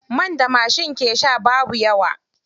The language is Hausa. Man da mashi ke sha babu yawa.